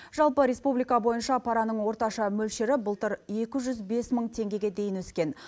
жалпы республика бойынша параның орташа мөлшері былтыр екі жүз бес мың теңгеге дейін өскен